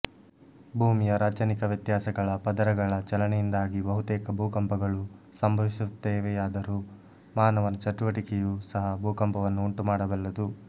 ಭೂಮಿಯ ರಾಚನಿಕ ವ್ಯತ್ಯಾಸಗಳ ಪದರಗಳ ಚಲನೆಯಿಂದಾಗಿ ಬಹುತೇಕ ಭೂಕಂಪಗಳು ಸಂಭವಿಸುತ್ತವೆಯಾದರೂ ಮಾನವನ ಚಟುವಟಿಕೆಯೂ ಸಹ ಭೂಕಂಪವನ್ನು ಉಂಟುಮಾಡಬಲ್ಲದು